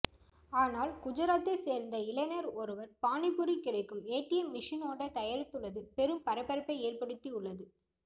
ஆனால் குஜராத்தை சேர்ந்த இளைஞர் ஒருவர் பானிபூரி கிடைக்கும் ஏடிஎம் மெஷின் ஒன்றை தயாரித்துள்ளது பெரும் பரபரப்பை ஏற்படுத்தி உள்ளது